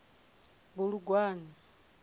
bulugwane